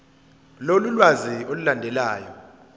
lolu lwazi olulandelayo